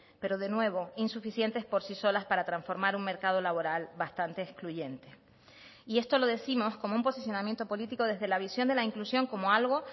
pero de nuevo insuficientes por sí solas para transformar un mercado laboral bastante excluyente y esto lo décimos como un posicionamiento político desde la visión de la inclusión como algo